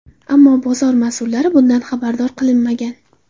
Ammo bozor mas’ullari bundan xabardor qilinmagan.